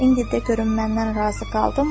İndi de görüm məndən razı qaldınmı?